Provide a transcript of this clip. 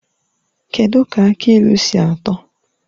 Kedụ ka aki ilu si atọ?